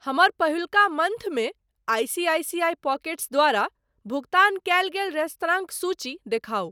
हमर पहिलुका मंथ मे आईसीआईसीआई पॉकेट्स द्वारा भुगतान कयल गेल रेस्तरांक सूची दिखाउ।